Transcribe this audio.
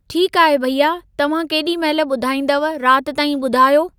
ठीकु आहे भैया, तव्हां केॾी महिल ॿुधाईंदव राति ताईं ॿुधायो।